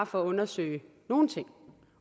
for at undersøge nogen ting